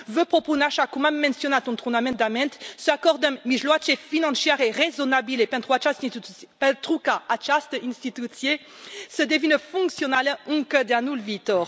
Vă propun, așa cum am menționat într un amendament, să acordăm mijloace financiare rezonabile pentru ca această instituție să devină funcțională încă de anul viitor.